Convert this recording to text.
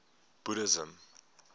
buddhism